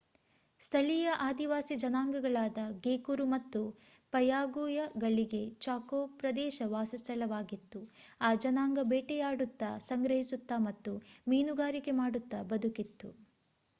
ಸ್ಥಳೀಯ ಆದಿವಾಸಿ ಜನಾಂಗಗಳಾದ ಗೇಕುರು ಮತ್ತು ಪಯಾಗುಯಗಳಿಗೆ ಚಾಕೋ ಪ್ರದೇಶ ವಾಸಸ್ಥಳವಾಗಿತ್ತು ಆ ಜನಾಂಗ ಬೇಟೆಯಾಡುತ್ತಾ ಸಂಗ್ರಹಿಸುತ್ತಾ ಮತ್ತು ಮೀನುಗಾರಿಕೆ ಮಾಡುತ್ತಾ ಬದುಕಿತ್ತು